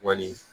Wali